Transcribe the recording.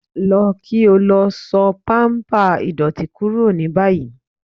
Lọ kí o lọ só pàmpá ìdọ́tì kúrò ní báyì